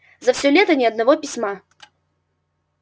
за всё лето ни одного письма